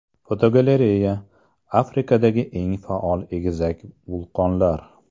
Fotogalereya: Afrikadagi eng faol egizak vulqonlar.